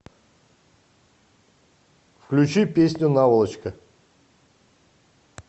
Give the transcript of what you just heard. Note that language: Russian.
включи песню наволочка